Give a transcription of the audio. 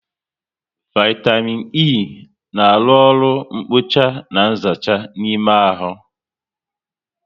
Vaitamịn E na arụ oru nkpocha na nzacha n'ime ahụ